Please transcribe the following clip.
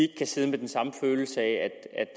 kan sidde med den samme følelse af